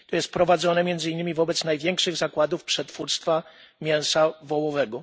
prowadzone między innymi wobec największych zakładów przetwórstwa mięsa wołowego.